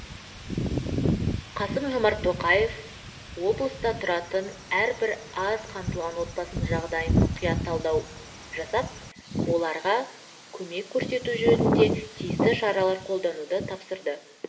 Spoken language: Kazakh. қасым жомарт тоқаев облыста тұратын әрбір аз қамтылған отбасының жағдайын мұқият талдау жасап оларға көмек көрсету жөнінде тиісті шаралар қолдануды тапсырды